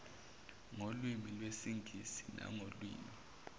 ngolwimi lwesingisi nangolwimi